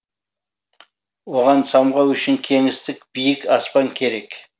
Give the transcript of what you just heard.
оған самғау үшін кеңістік биік аспан керек